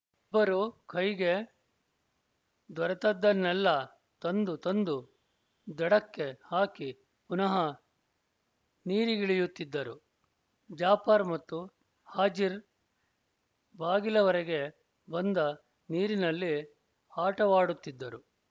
ಇಬ್ಬರೂ ಕೈಗೆ ದೊರೆತದ್ದನ್ನೆಲ್ಲ ತಂದು ತಂದು ದಡಕ್ಕೆ ಹಾಕಿ ಪುನಃ ನೀರಿಗಿಳಿಯುತ್ತಿದ್ದರು ಜಾಫರ್ ಮತ್ತು ಹಾಜಿರ್ ಬಾಗಿಲವರೆಗೆ ಬಂದ ನೀರಿನಲ್ಲಿ ಆಟವಾಡುತ್ತಿದ್ದರು